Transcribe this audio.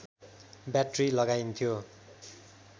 battery लगाइन्थ्यो